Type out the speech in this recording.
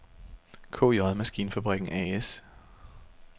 KJ Maskinfabrikken A/S